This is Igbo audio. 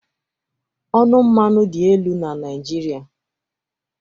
Ọnụ mmanụ dị elu na Naịjirịa